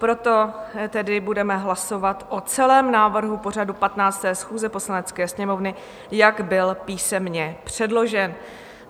Proto tedy budeme hlasovat o celém návrhu pořadu 15. schůze Poslanecké sněmovny, jak byl písemně předložen.